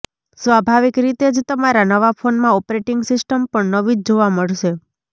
સ્વાભાવિક રીતે જ તમામ નવા ફોનમાં ઓપરેટિંગ સિસ્ટમ પણ નવી જ જોવા મળશે